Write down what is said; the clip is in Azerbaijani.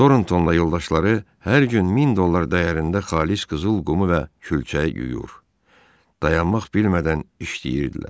Torntonla yoldaşları hər gün 1000 dollar dəyərində xalis qızıl qumu və külçə yuyur, dayanmaq bilmədən işləyirdilər.